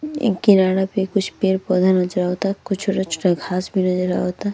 ई किनारा पे कुछ पेर -पौधा नज़र आवता। कुछ छोटा-छोटा घास भी नज़र आवता।